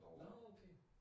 Nåh okay